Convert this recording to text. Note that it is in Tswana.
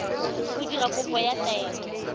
go dira kopo ya taelo